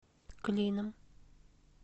клином